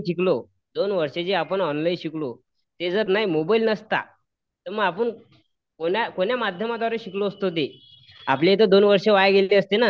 दोनवर्षात आपण ऑनलाईन शिकलो ते जर मोबाईल नसता जर मोबाईल नास्ता तर कोण्या माध्यमातून शिकलो असतो आपली दोन वर्ष वाया गेली असती ना